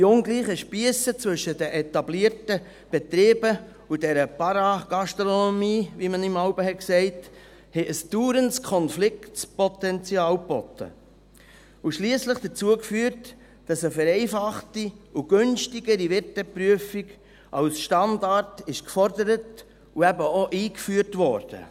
Die ungleichen Spiesse zwischen den etablierten Betrieben und dieser Paragastronomie, wie man ihr jeweils gesagt hat, haben ein dauerndes Konfliktpotenzial geboten und schliesslich dazu geführt, dass eine vereinfachte und günstigere Wirteprüfung als Standard gefordert und eben auch eingeführt wurde.